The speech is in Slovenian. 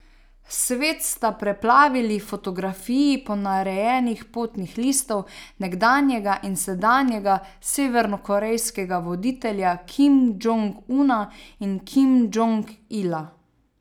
Svet sta preplavili fotografiji ponarejenih potnih listov nekdanjega in sedanjega severnokorejskega voditelja Kim Džong Una in Kim Džong Ila.